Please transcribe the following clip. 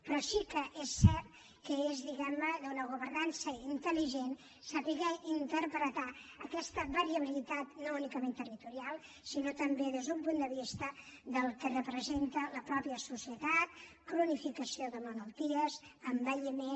però sí que és cert que és diguem ne d’una governança intel·ligent saber interpretar aquesta variabilitat no únicament territorial sinó també des d’un punt de vista del que representa la mateixa societat cronificació de malalties envelliment